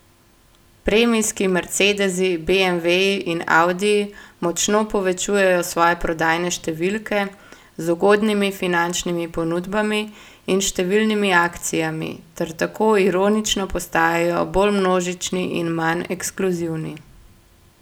Premijski mercedesi, beemveji in audiji močno povečujejo svoje prodajne številke z ugodnimi finančnimi ponudbami in številnimi akcijami ter tako ironično postajajo bolj množični in manj ekskluzivni.